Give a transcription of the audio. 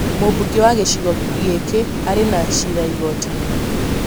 Mumbunge wa gicigo gĩki arĩ na cira igoti-inĩ